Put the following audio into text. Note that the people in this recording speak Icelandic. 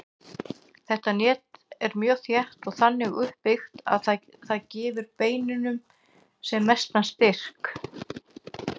Þetta net er mjög þétt og þannig uppbyggt að það gefi beininu sem mestan styrk.